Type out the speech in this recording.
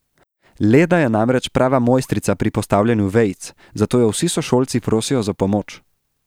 Leda je namreč prava mojstrica pri postavljanju vejic, zato jo vsi sošolci prosijo za pomoč.